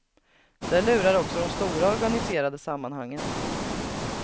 Där lurar också de stora organiserade sammanhangen.